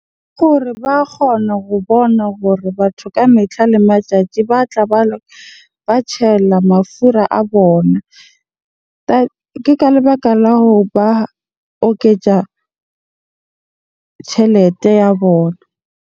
Gore ba kgona go bona gore batho ka metlha le matsatsi ba tla ba mafura a bona. Ke ka lebaka la hoba oketja tjhelete ya bona.